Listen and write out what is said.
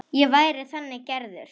Ég væri þannig gerður.